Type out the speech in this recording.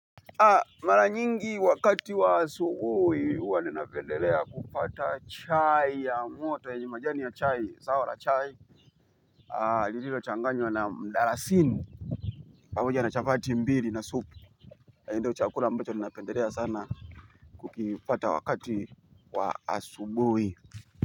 Mara nyingi wakati wa asubuhi huwa ninapendelea kupata chai ya moto yenye majani ya chai zao la chai. Lililo changanywa na mdarasini pamoja na chapati mbili na supu. Na hii ndo chakula ambacho napendelea sana kukipata wakati wa asubuhi.